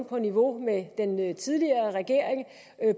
på niveau med den tidligere regering